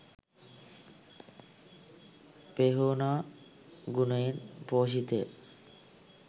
පෙහෝනා ගුණයෙන් පෝෂිත ය.